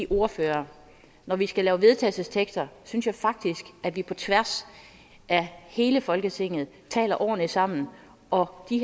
ordførere når vi skal lave vedtagelse synes jeg faktisk at vi på tværs af hele folketinget taler ordentligt sammen og de